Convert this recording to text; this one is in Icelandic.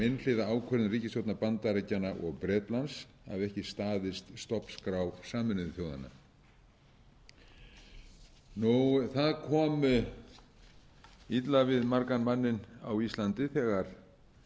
einhliða ákvörðun ríkisstjórna bandaríkjanna og bretlands hafi ekki staðist stofnskrá sameinuðu þjóðanna það kom illa við margan manninn á íslandi þegar